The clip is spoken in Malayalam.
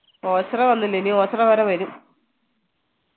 ഒച്ചറ വന്നില്ല ഇനി ഒച്ചറ വരെ വരും